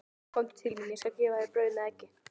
Komdu til mín, ég skal gefa þér brauð með eggi.